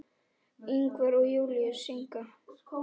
Ingvar og Júlíus syngja.